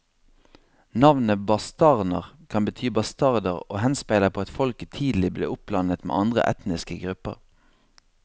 Navnet bastarner kan bety bastarder og henspeiler på at folket tidlig ble oppblandet med andre etniske grupper.